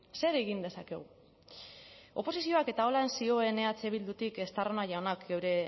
zer egin dezakegu oposizioak eta horrela zioen eh bildutik estarrona jaunak eta